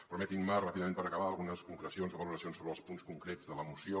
permetin·me ràpidament per acabar algunes concrecions o valoracions sobre els punts concrets de la moció